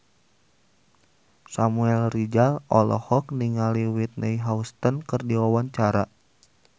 Samuel Rizal olohok ningali Whitney Houston keur diwawancara